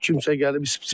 Kimsə gəlib.